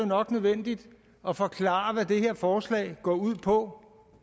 nok nødvendigt at forklare hvad det her forslag går ud på